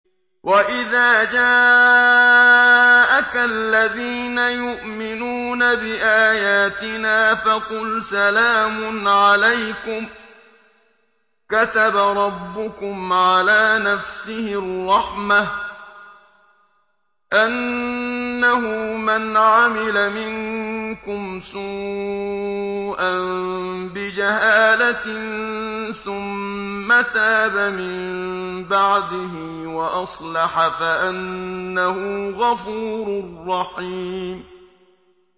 وَإِذَا جَاءَكَ الَّذِينَ يُؤْمِنُونَ بِآيَاتِنَا فَقُلْ سَلَامٌ عَلَيْكُمْ ۖ كَتَبَ رَبُّكُمْ عَلَىٰ نَفْسِهِ الرَّحْمَةَ ۖ أَنَّهُ مَنْ عَمِلَ مِنكُمْ سُوءًا بِجَهَالَةٍ ثُمَّ تَابَ مِن بَعْدِهِ وَأَصْلَحَ فَأَنَّهُ غَفُورٌ رَّحِيمٌ